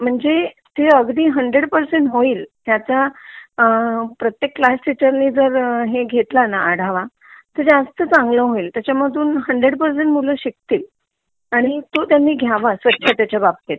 म्हणजे ते अगदी हंडरेड परसेंट होईल ह्याचा प्रत्येक क्लास टीचर ने जर हे घेतला ना आढावा तर जास्त चांगला होईल त्याचंधून हंडरेड परसेंट मूल शिकतील आणि तो त्यांनी घ्यावा स्वच्छतेच्या बाबतीत